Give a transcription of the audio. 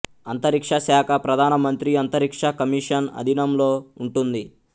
అంతరిక్ష శాఖ ప్రధాన మంత్రి అంతరిక్ష కమిషన్ అధీనంలో ఉంటుంది